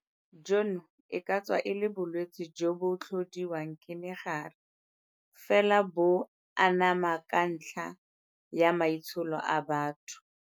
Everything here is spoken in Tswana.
Jono e ka tswa e le bolwetse jo bo tlhodiwang ke mogare, fela bo anama ka ntlha ya maitsholo a batho.